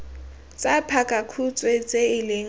tsa pakakhutshwe tse e leng